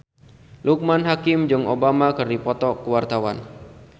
Loekman Hakim jeung Obama keur dipoto ku wartawan